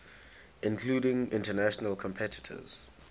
including international competitors